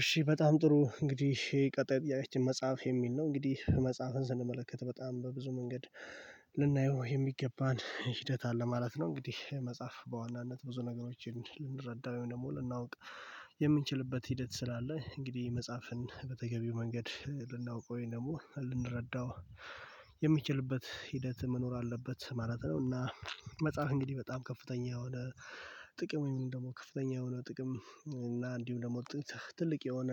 እሺ በጣም ጥሩ እንግዲህ ቀጥይ ጥያቄያችን መጽሐፍ የሚል ነው። እንግዲህ መጽሐፍን ስንመለከት በጣም በብዙ መንገድ ልናየው የሚገባን ሂደት አለ ማለት ነው። እንግዲህ መጽሐፍ በዋናነት ብዙ ነገሮችን ልንረዳው ወይም ደግሞ ልናውቅ የምንችልበት ሂደት ስላለ እንግዲህ መጽሐፍን በተገቢው መንገድ ልናውቀው ወይም ደግሞ ልንረዳው የሚችልበት ሂደት መኖር አለበት ማለት ነው። እና መጽሐፍ እንግዲህ በጣም ከፍተኛ የሆነ ጥቅም ወይም ደግሞ ከፍተኛ የሆነ ጥቅም እና እንዲሁም ደግሞ ትልቅ የሆነ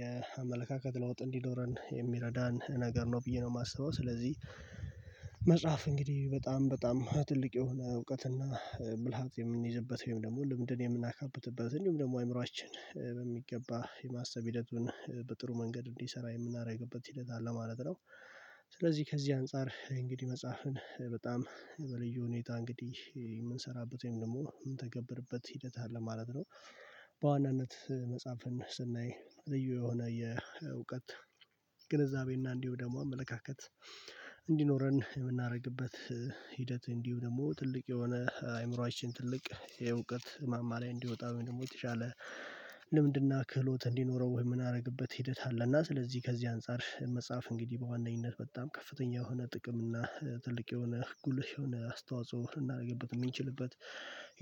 የአመለካከት ለውጥ እንዲኖረን የሚረዳን ነገር ነው ብዬ ነው የማስበው። ስለዚህ እንግዲህ በጣም በጣም ትልቅ የሆነ እውቀትና ብልሃት የምንይዝበት ወይም ደግሞ ልምድን የምናካብትበት እንዲሁም ደግሞ አእምሮአችን በሚገባ የማሰብ ሂደቱን በጥሩ መንገድ እንዲሰራ የምናደርግበት ሂደት አለ ማለት ነው። ስለዚህ ከዚህ አንፃር እንግዲህ መጽሐፍን በጣም በልዩ ሁኔታ እንግዲህ የምንሰራበት ወይም ደግሞ የምንተገብርበት ሂደት አለ ማለት ነው። በዋናነት መጽሐፍን ስናይ ልዩ የሆነ የእውቀት ግንዛቤና እንዲሁ ደግሞ አመለካከት እንዲኖረን የምናደርግበት ሂደት እንዲሁ ደግሞ ትልቅ የሆነ አይምሮአችን ትልቅ የእውቀት ማማ ላይ እንዲወጣ ደግሞ የተሻለ ልምድና ክህሎት እንዲኖረው ወይ ምንደረግበት ሂደት አለ እና ስለዚህ ከዚህ አንፃር መጽሐፍ እንግዲህ በዋነኝነት በጣም ከፍተኛ የሆነ ጥቅም እና ትልቅ የሆነ ጉልህ የሆነ አስተዋጽኦ እናደርግበት የሚችልበት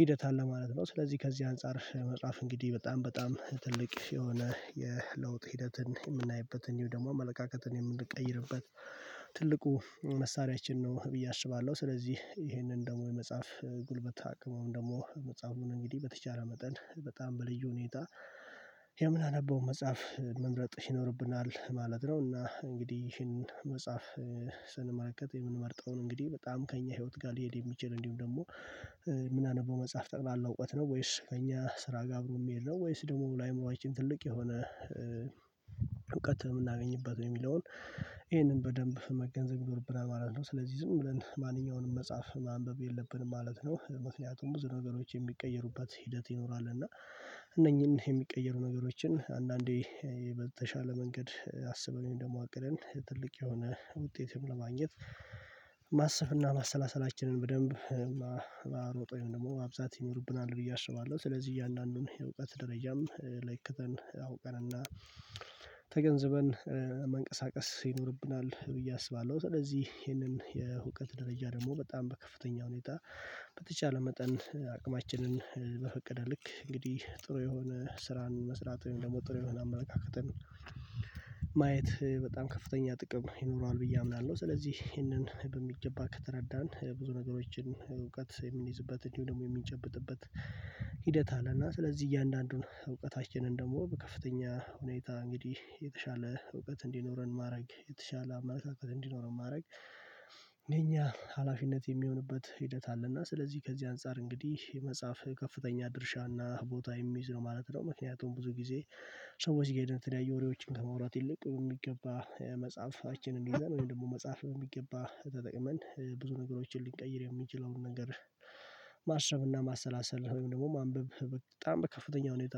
ሂደት አለ ማለት ነው። ስለዚህ ከዚህ አንፃር መጽሐፍ እንግዲህ በጣም በጣም ትልቅ የሆነ የለውጥ ሂደትን የምናይበትን እንዲሁምደግሞ አመለካከትን የምንቀይርበት ትልቁ መሳሪያችን ነው ብዬ አስባለሁ። ስለዚህ ይሄንን ደግሞ የመጽሐፍ ጉልበት አቅመን ደግሞ መጽሐፉን እንግዲህ በተቻለ መጠን በጣም በልዩ ሁኔታ የምናነበው መጽሐፍ መምረጥ ይኖርብናል ማለት ነው። እና እንግዲህ ይህንን መጽሐፍ ስንመለከት ነው እንግዲህ በጣም ከእኛ ህይወት ጋር ሊሄድ የሚችል እንዲሁም ደግሞ ምና አነበው መጽሐፍ ጠቅላላ እውቀት ነው ወይስ ከእኛ ስራ ጋር አብሮ የሚሄድ ነው ወይስ ደግሞ ለአእምሮችን ትልቅ የሆነ እውቀት የምናገኝበት ወይ የሚለውን ይሄንን በደንብ መገንዘብ ይኖርብናል ማለት ነው። ስለዚህ ዝም ብለን ማንኛውንም መጽሐፍ ማንበብ የለብንም ማለት ነው። ምክንያቱም ብዙ ነገሮች የሚቀየሩበት ሂደት ይኖራል። እና እነኚህን የሚቀየሩ ነገሮችን አንዳንዴ በተሻለ መንገድ አሰበን ደግሞ አቅደን ትልቅ የሆነ ውጤትም ለማግኘት ማሰብና ማሰላሰላችንን በደንብ ማሮጠን ውይም ደግሞ ማብዛት ይኖርብናል ብዬ አስባለሁ። ስለዚህ እያንዳንዱን የእውቀት ደረጃም ለክተን አውቀን እና ተገንዝበን መንቀሳቀስ ይኖርብናል ብዬ አስባለሁ። ስለዚህ ይሄንን የእውቀት ደረጃ ደግሞ በጣም በከፍተኛ ሁኔታ በተቻለ መጠን አቅማችንን በፈቀደ ልክ እንግዲህ ጥሩ የሆነ ስራን መስራት ወይም ደግሞ ጥሩ የሆነ አመለካከትን ማየት በጣም ከፍተኛ ጥቅም ይኖረዋል ብዬ አምናለሁ። ስለዚህ ይሄንን በሚገባ ከተረዳን ብዙ ነገሮችን እውቀት የምንይዝበት እንዲሁ ደግሞ የሚጨብጥበት ሂደት አለ። እና ስለዚህ እያንዳንዱን እውቀታችንን ደግሞ በከፍተኛ ሁኔታ እንግዲህ የተሻለ እውቀት እንዲኖረን ማድረግ የተሻለ አማራጭ እንዲኖረን ማድረግ የኛ ሀላፊነት የሚሆንበት ሂደት አለና ስለዚህ ከዚህ አንፃር እንግዲህ መጽሐፍ ከፍተኛ ድርሻና ቦታ የሚይዝ ነው ማለት ነው። ምክንያቱም ብዙ ጊዜ ሰዎች ጋር ሂደን የተለያየ ወሬዎችን ከመውራት ይልቅ የሚገባ መጽሐፋችንን እንደዛ ነው ወይም ደግሞ መጽሐፍ በሚገባ ተጠቅመን ብዙ ነገሮችን ልንቀይር የሚችለውን ነገር ማሰብ እና ማሰላሰል ወይም ደግሞ ማንበብ በጣም በከፍተኛ ሁኔታ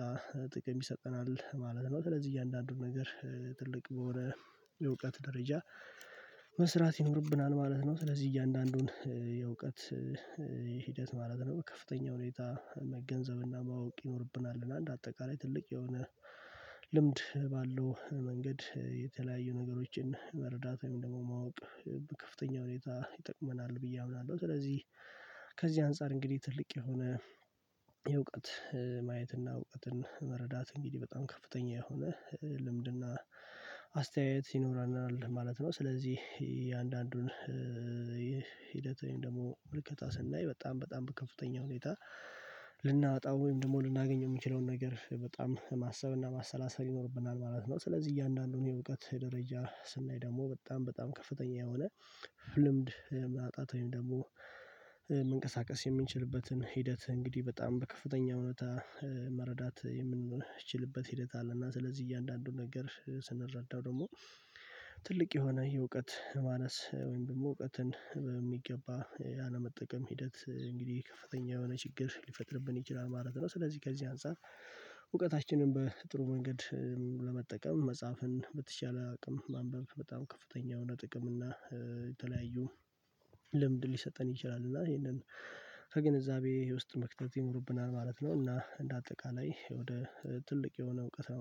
ጥቅም ይሰጠናል ማለት ነው። ስለዚህ እያንዳንዱን ነገር ትልቅ በሆነ የእውቀት ደረጃ መስራት ይኖርብናል ማለት ነው። ስለዚህ እያንዳንዱን የእውቀት ሂደት ማለት ነው ከፍተኛ ሁኔታ መገንዘብና ማወቅ ይኖርብናል። እና አንድ አጠቃላይ ትልቅ የሆነ ልምድ ባለው መንገድ የተለያዩ ነገሮችን መረዳት ወይም ደግሞ ማወቅ ከፍተኛ ሁኔታ ይጠቅመናል ብዬ አምናለሁ። ስለዚህ ከዚህ አንፃር እንግዲህ ትልቅ የሆነ የእውቀት ማየትና እውቀትን መረዳት እንግዲህ በጣም ከፍተኛ የሆነ ልምድና አስተያየት ይኖራልናል ማለት ነው። ስለዚህ የአንዳንዱን ሂደት ወይም ደግሞ ምልከታ ስናይ በጣም በጣም ከፍተኛ ሁኔታ ልናወጣ ወይም ደግሞ ልናገኝ የምንችለውን የምችለውን ነገር በጣም ማሰብና ማሰላሰል ይኖርብናል ማለት ነው። ስለዚህ እያንዳንዱን የእውቀት ደረጃ ስናይ ደግሞ በጣም በጣም ከፍተኛ የሆነ ፍ ልምድ ማጣት ወይም ደግሞ መንቀሳቀስ የሚችልበትን ሂደት እንግዲህ በጣም በከፍተኛ ሁኔታ መረዳት የምንችልበት ሂደት አለ። እና ስለዚህ እያንዳንዱን ነገር ስንረዳው ደግሞ ትልቅ የሆነ የእውቀት ማነስ ወይም ደግሞ እውቀትን በሚገባ አለመጠቀም ሂደት እንግዲህ ከፍተኛ የሆነ ችግር ሊፈጥርብን ይችላል ማለት ነው። ስለዚህ ከዚህ አንፃር እውቀታችንን በጥሩ መንገድ ለመጠቀም መጻፍን በተቻለ አቅም ማንበብ በጣም ከፍተኛ የሆነ ጥቅም እና የተለያዩ ልምድ ሊሰጠን ይችላል። እና ይሄንን ከግንዛቤ ውስጥ መክተት ይኖርብናል ማለት ነው። እና እንደ አጠቃላይ ወደ ትልቅ የሆነ እውቀት ነው